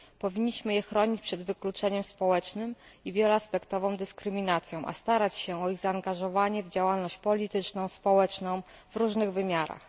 Powinniśmy je chronić przed wykluczeniem społecznym i wieloaspektową dyskryminacją, starać się o ich zaangażowanie w działalność polityczną i społeczną w różnych wymiarach.